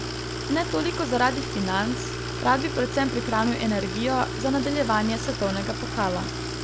Ne toliko zaradi financ, rad bi predvsem prihranil energijo za nadaljevanje svetovnega pokala.